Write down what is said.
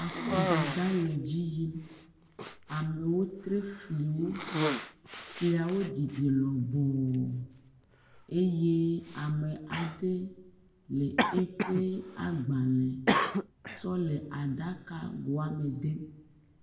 Akɔdada le edzi yim. Amewo tri fliwo. Fliawo didi lɔbɔɔɔ. Eye ame aɖe eƒe agbalẽ tsɔ le aɖakagoa me dem.